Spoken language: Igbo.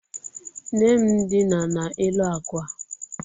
Nne m dina n'elu akwa.